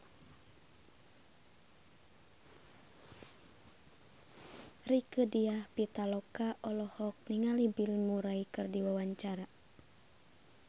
Rieke Diah Pitaloka olohok ningali Bill Murray keur diwawancara